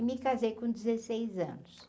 Me casei com dezeseis anos.